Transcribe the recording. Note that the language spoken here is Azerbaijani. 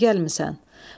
Bura niyə gəlmisən?